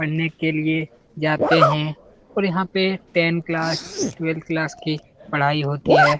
पढ़ने के लिए जाते हैं और यहाँ पर टेंन क्लास ट्वेल्भ क्लास की पढ़ाई होती है।